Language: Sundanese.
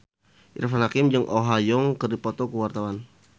Irfan Hakim jeung Oh Ha Young keur dipoto ku wartawan